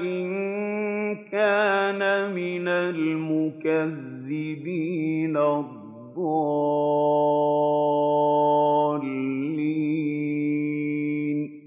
إِن كَانَ مِنَ الْمُكَذِّبِينَ الضَّالِّينَ